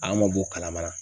A ma bɔ kalamana.